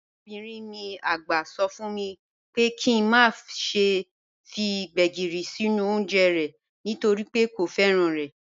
Arabinrin mi àgbà sọ fún mi pé kí n má ṣe fi Gbegírí sínú oúnjẹ rẹ̀ nítorí pé kò fẹ́ràn rẹ̀.